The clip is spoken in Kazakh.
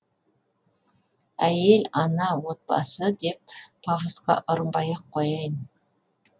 әйел ана отбасы деп пафосқа ұрынбай ақ қояйын